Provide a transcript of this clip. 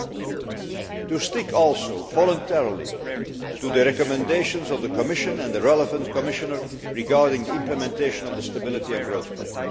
and also to stick voluntarily to the recommendations of the Commission and the relevant Commissioner regarding the implementation of the Stability and Growth Pact.